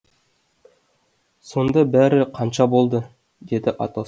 сонда бәрі қанша болды деді атос